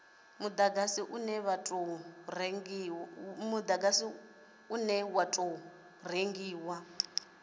mudagasi une wa tou rengiwa